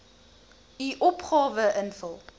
u opgawe invul